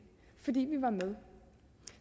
fordi vi var med